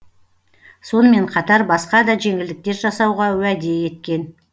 сонымен қатар басқа да жеңілдіктер жасауға уәде еткен